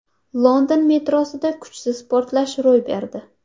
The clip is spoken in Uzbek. London metrosida kuchsiz portlash ro‘y berdi.